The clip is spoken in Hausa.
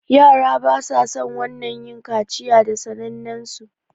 yara basason wannan yin kaciya da sanen su